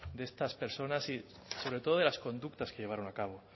de estas personas y sobre todo de las conductas que llevaron a cabo